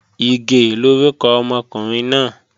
Ìgè lórúkọ ọmọkùnrin náà